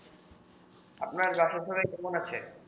আপনার বাসার সবাই কেমন আছে